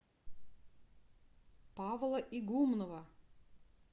павла игумнова